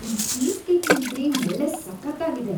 ಈ ಚೀಸ್ ಕೇಕಿನ್‌ ಕ್ರೀಮ್‌ ಒಳ್ಳೆ ಸಖತ್ತಾಗಿದೆ.